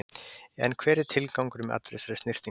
En hver er tilgangurinn með allri þessari snyrtingu?